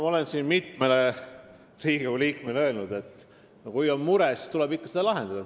Ma olen siin mitmele Riigikogu liikmele öelnud, et kui on mure, siis tuleb seda ikka lahendada.